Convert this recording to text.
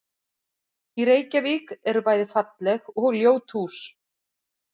Í Reykjavík eru bæði falleg og ljót hús.